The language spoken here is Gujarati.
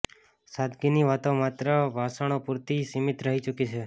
સાદગીની વાતો માત્ર ભાષણો પૂરતી સીમિત રહી ચૂકી છે